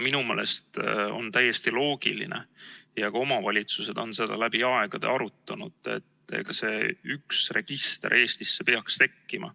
Minu meelest on täiesti loogiline ja ka omavalitsused on seda läbi aegade arutanud, et see üks register Eestisse peaks tekkima.